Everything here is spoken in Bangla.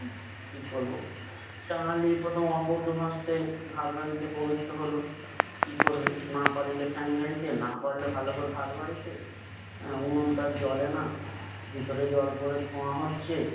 কি করবো? কাঙালি এই প্রথম অপটুহস্তে ভাত রাধিতে প্রবৃত্ত হলো। কি করবে, না পারিল ফ্যান ঝাড়িতে, না পারলো ভালো ভাত বাড়িতে। অ্যা উনুন তো আর জ্বলে না। ভিতরে জল পরে ধোয়া হচ্ছে।